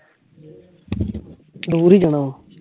ਡੁਗਰੀ ਜਾਣਾ ਵਾ